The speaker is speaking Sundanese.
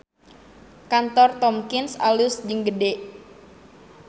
Kantor Tomkins alus jeung gede